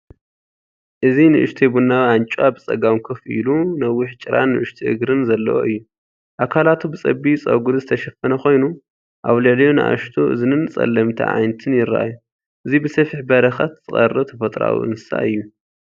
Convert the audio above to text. እዚ ንእሽቶ ቡናዊ ኣንጭዋ፡ ብጸጋም ኮፍ ኢሉ፡ ነዊሕ ጭራን ንኣሽቱ እግርን ዘለዎ እዩ። ኣካላቱ ብጸቢብ ጸጉሪ ዝተሸፈነ ኮይኑ፡ ኣብ ልዕሊኡ ንኣሽቱ እዝንን ጸለምቲ ኣዒንቲን ይረኣዩ። እዚ ብሰፊሕ በረኸት ዝቐርብ ተፈጥሮኣዊ እንስሳ እዩ።